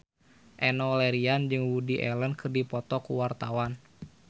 Enno Lerian jeung Woody Allen keur dipoto ku wartawan